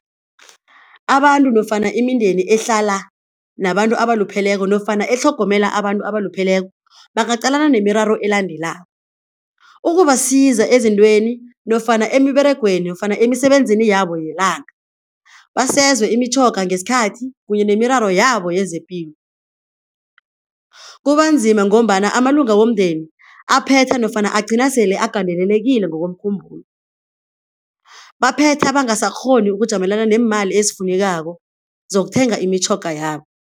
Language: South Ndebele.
Abantu nofana imindeni ehlala nabantu abalupheleko nofana etlhogomela abantu abalupheleko bangacalana nemiraro elandelako, ukubasiza ezintweni nofana emiberegweni nofana emisebenzini yabo yelanga basezwe imitjhoga ngesikhathi kunye nemiraro yabo yezepilo. Kubanzima ngombana amalunga womndeni aphetha nofana agcina sele agandelelekile ngokomkhumbulo baphetha bangasakghoni ukujamelana neemali ezifunekako zokuthenga imitjhoga yabo.